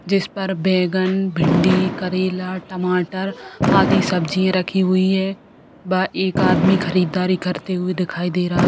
जिस पर बैगन भिंडी करेला टमाटर आदि सब्जियां रखी हुई है व एक आदमी खरीददारी करते हुए दिखाई दे रहा है।